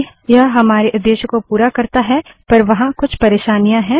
हालाँकि यह हमारे उद्देश्य को पूरा करता है पर वहाँ कुछ परेशानियाँ हैं